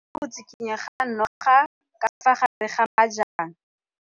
O bone go tshikinya ga noga ka fa gare ga majang.